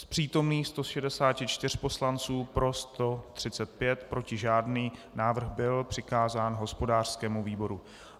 Z přítomných 164 poslanců pro 135, proti žádný, návrh byl přikázán hospodářskému výboru.